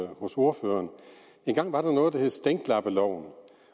hos ordføreren engang var der noget der hed stænklappeloven